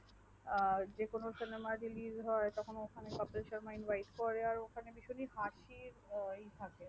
যে কোনো cinema release হয় তখন ওখানে কপিল শর্মা invite করে আর ওখানে ভীষণই হাসির ই থাকে